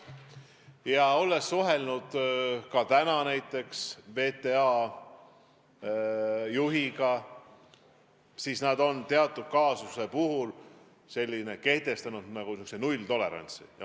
Ma olen täna suhelnud ka näiteks VTA juhiga ja nad on teatud kaasuse puhul kehtestanud niisuguse nulltolerantsi.